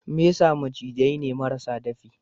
Mesa macizai ne marasa dafi.